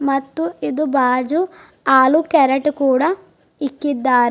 ಮತ್ತು ಇದು ಬಾಜು ಆಲೂ ಕ್ಯಾರೆಟ್ ಕೂಡ ಇಕ್ಕಿದ್ದಾರೆ.